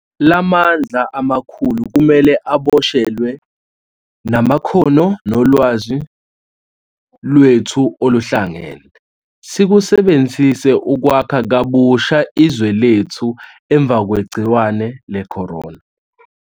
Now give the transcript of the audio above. La mandla amakhulu kumele aboshelwe, namakhono nolwazi lwethu oluhlangene sikusebenzise ukwakha kabusha izwe lethu emva kwegciwane le-corona.